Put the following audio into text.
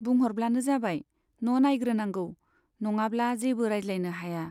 बुंह'रब्लानो जाबाय, न' नाइग्रोनांगौ, नङाब्ला जेबो रायज्लायनो हाया।